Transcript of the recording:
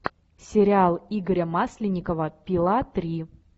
сериал игоря масленникова пила три